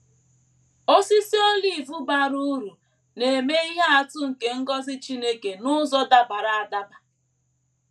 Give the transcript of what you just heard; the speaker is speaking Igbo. Osisi olive bara uru na - eme ihe atụ nke ngọzi Chineke n’ụzọ dabara adaba.